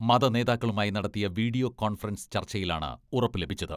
മത നേതാക്കളുമായി നടത്തിയ വീഡിയോ കോൺഫറൻസ് ചർച്ചയിലാണ് ഉറപ്പ് ലഭിച്ചത്.